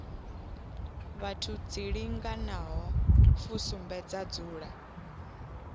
vhathu dzilinganaho fusumbe dza dzula